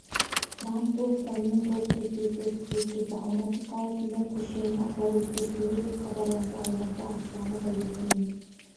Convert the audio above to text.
трамп бұл ұстаныммен толықтай келісетінін жеткізді алматы қаласында көшенің атауы өзгертілді деп хабарланды алматы ақшамы газетінің